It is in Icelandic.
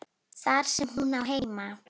Þar sem hún á heima.